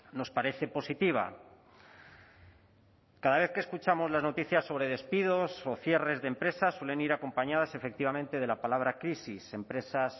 nos parece positiva cada vez que escuchamos las noticias sobre despidos o cierres de empresas suelen ir acompañadas efectivamente de la palabra crisis empresas